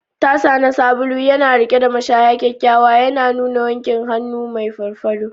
Tasa na sabulu yana riƙe da mashaya kyakkyawa, yana nuna wankin hannu mai farfado.